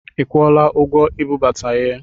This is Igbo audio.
I kwụọla ụgwọ ibubata ihe?